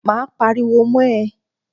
Máa pariwo mọ́ ẹ.